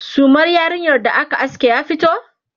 sumar yarinyar da aka aske ya fito?